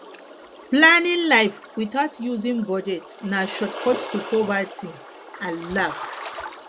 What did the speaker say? planning life without using budget na shortcut to poverty and lack